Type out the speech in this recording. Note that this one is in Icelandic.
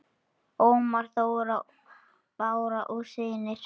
Ómar Þór, Bára og synir.